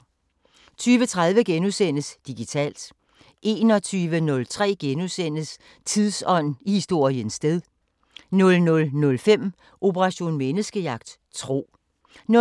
20:30: Digitalt * 21:03: Tidsånd: I historiens sted * 00:05: Operation Menneskejagt: Tro 00:33: